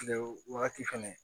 Kile wagati fɛnɛ